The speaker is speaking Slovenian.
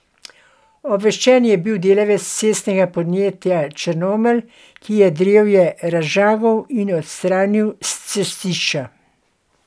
Obveščen je bil delavec cestnega podjetja Črnomelj, ki je drevje razžagal in odstranil s cestišča.